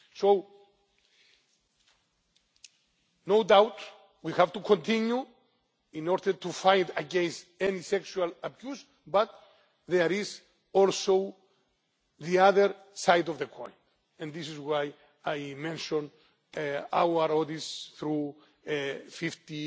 So no doubt we have to continue in order to fight against any sexual abuse, but there is also the other side of the coin, and this is why I mention our audits through